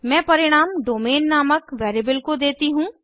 मैं परिणाम डोमेन नामक वेरिएबल को देती हूँ